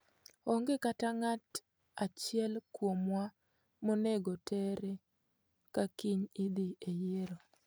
Onge kata ng'at achiel kuomwa monego terre ka kiny idhi e yiero.'